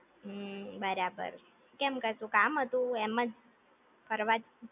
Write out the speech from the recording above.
હમ્મ બરાબર છે, કેમ કશું કામ હતું એમજ ફરવા જ